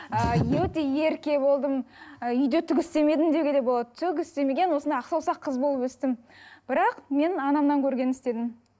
ыыы өте ерке болдым ы үйде түк істемедім деуге де болады түк істемеген осындай ақ саусақ қыз болып өстім бірақ мен анамнан көргенін істедім